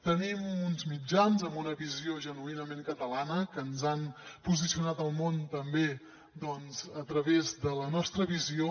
tenim uns mitjans amb una visió genuïnament catalana que ens han posicionat al món també a través de la nostra visió